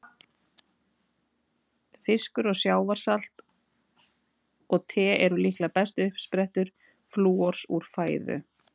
Fiskur, sjávarsalt og te eru líklega bestu uppsprettur flúors úr fæðu.